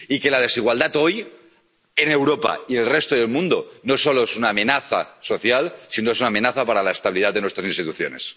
Y que la desigualdad hoy, en Europa y en el resto del mundo, no solo es una amenaza social, sino que es una amenaza para la estabilidad de nuestras instituciones.